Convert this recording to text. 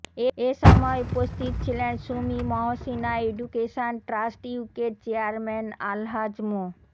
এ সময় উপস্থিত ছিলেন সুমী মহসিনা অ্যাডুকেশন ট্রাস্ট ইউকের চেয়ারম্যান আলহাজ মো